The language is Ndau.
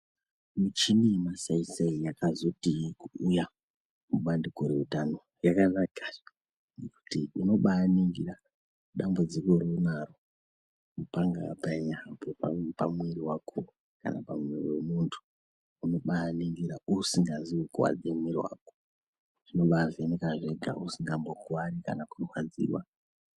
Michini yemasaisai yakazoti kuuya kubandiko routano yakanaka ngokuti unobaningira dambudziko raunaro panga panyambo pamwiri wako kana pamwiri pemundu , unobaningira isingazvikuwadzi mwiri wakozvinobavheneka zvega usingambokuwari kana kurwadziwa.